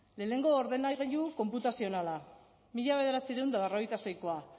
lehenengo ordenagailu konputazioanala mila bederatziehun eta berrogeita seikoa